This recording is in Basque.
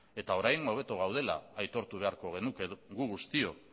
eta orain hobeto gaudela aitortu beharko genuke guk guztiok